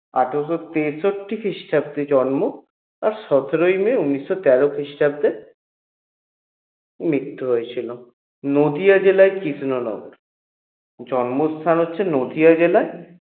আঠারোশ তেষট্টি খ্রিস্টাব্দে জন্ম আর সতেরই may উনিশশো তেরো খ্রিস্টাব্দে মৃত্যু হয়েছিল নদীয়া জেলায় কৃষ্ণ নগর জন্মস্থান হচ্ছে নদীয়া জেলায়